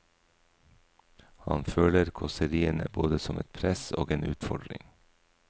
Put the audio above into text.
Han føler kåseriene både som et press og en utfordring.